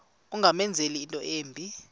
ungamenzela into embi